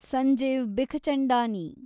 Sanjeev Bikhchandani